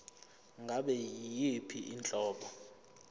ngabe yiyiphi inhlobo